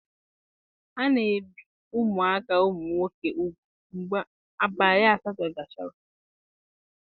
A na-ebi ụmụaka ụmụ nwoke ugwu mgbe abalị asatọ gasịrị.